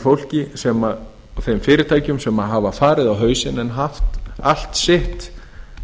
fólki og þeim fyrirtækjum sem hafa farið á hausinn en